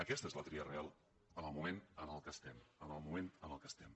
aquesta és la tria real en el moment en què estem en el moment en què estem